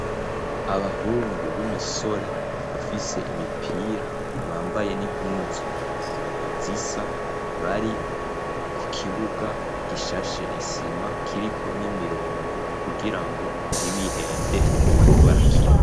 Abahungu b'imisore bafise imipira bambaye n'impuzu zisa bari ku kibuga gishashe isima kiriko n'imirongo kugira ngo ntibihende mu gihe bariko barakina.